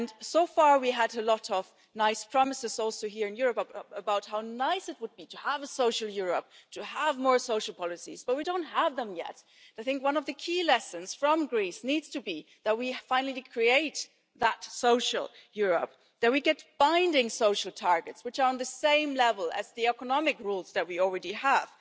So far, we have had a lot of nice promises, including here in the EU, about how nice it would be to have a social Europe and to have more social policies, but we don't have them yet. One of the key lessons from Greece is that we need to finally create that social Europe, and that we get binding social targets, which are on the same level as the economic rules that we already have.